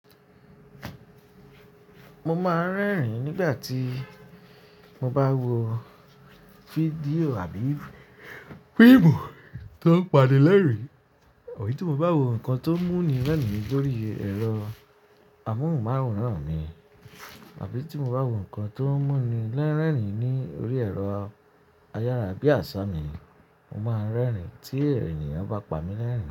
Mo máa ń rẹ́rìn-ín nígbà tí mo bá wo fídíò àbí fíìmù tó pàni lẹ́rìn, abì tí mo bá wo nǹkan tó mú ni lẹ́rìn lórí ẹ̀rọ am'awòrán mi àbí tí mo bá wo nǹkan tó mú ni lẹ́rìn lórí ẹ̀rọ ayára bíi àṣá mi, mo máa ń rẹ́rìn tí èniyan bá pa mi lẹ́rìn.